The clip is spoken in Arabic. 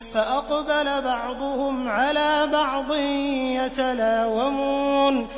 فَأَقْبَلَ بَعْضُهُمْ عَلَىٰ بَعْضٍ يَتَلَاوَمُونَ